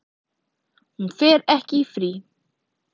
Hún fer ekki í frí.